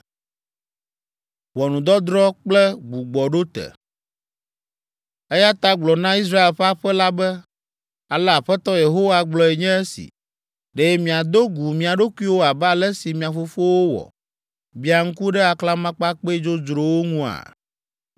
“Eya ta gblɔ na Israel ƒe aƒe la be, ‘Ale Aƒetɔ Yehowa gblɔe nye esi: Ɖe miado gu mia ɖokuiwo abe ale si mia fofowo wɔ, biã ŋku ɖe aklamakpakpɛ dzodzrowo ŋua?